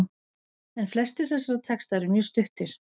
En flestir þessara texta eru mjög stuttir.